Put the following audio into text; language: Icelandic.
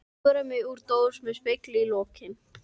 Ég púðra mig úr dós með spegli í lokinu.